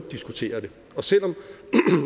diskutere det selv om